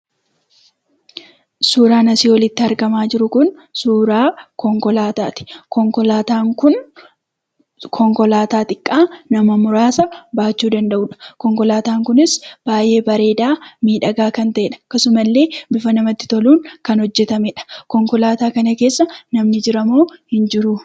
Suuraan asii olitti argamaa jiru kun suuraa konkolaataati. Konkolaataan kun konkolaataa xiqqaa nama muraasa baachuu danda'udha. Konkolaataan kunis baay'ee bareedaa, miidhagaa kan ta'edha. Akkasumallee bifa namatti toluun kan hojjetamedha. Konkolaataa kana keessa namni jiramoo hin jiruu?